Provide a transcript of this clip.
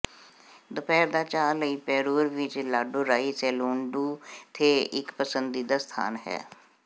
ਦੁਪਹਿਰ ਦਾ ਚਾਹ ਲਈ ਪੈਰੂਰ ਵਿਚ ਲਾਡੂਰਾਈ ਸੈਲੂਨ ਡੂ ਥੇ ਇਕ ਪਸੰਦੀਦਾ ਸਥਾਨ ਹੈ